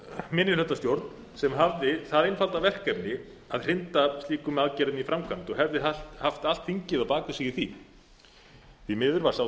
minnihlutastjórn sem hafði það einfalda verkefni að hrinda slíkum aðgerðum í framkvæmd og hefði haft allt þingið á bak við sig í því því miður var sá